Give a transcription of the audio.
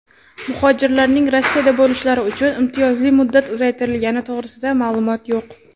muhojirlarning Rossiyada bo‘lishlari uchun imtiyozli muddat uzaytirilgani to‘g‘risida ma’lumot yo‘q.